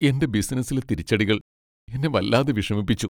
എന്റെ ബിസിനസ്സിലെ തിരിച്ചടികൾ എന്നെ വല്ലാതെ വിഷമിപ്പിച്ചു.